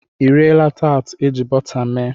I riela taatị eji bọta mee?